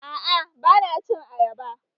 A'a bana cin ayaba